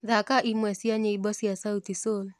thaka ĩmwe cĩa nyĩmbo cĩa sauti sol